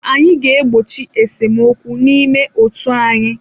Anyị ga-egbochi esemokwu n'ime otu anyị.